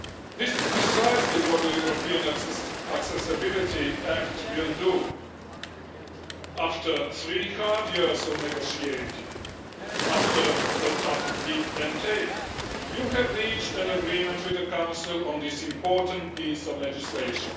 This is precisely what the European Accessibility Act will do. After three hard years of negotiating, after some tough give and take, you have reached an agreement with the Council on this important piece of legislation.